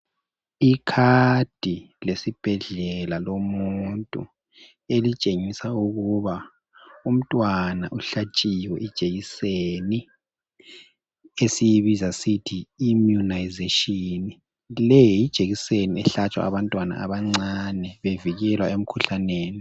Ikhadi lesibhedlela lomuntu elitshengisa ukuba umntwana uhlatshiwe ijekiseni esiyibiza sithi imunayizashini leyijekiseni ehlatshwa abantwana abancane bevikelwa emkhuhlaneni.